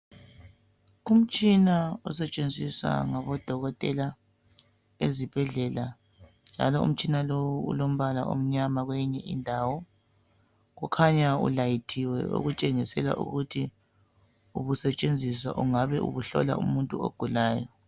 Umtshina osetshenziswa ngabodokotela ezibhedlela njalo umtshina lowu ulombala omnyama kweyinye indawo. Ukhanya ulayithiwe okutshengisela ukuthi ubusetshenziswa, ungabe ubuhlola umuntu ogulayo.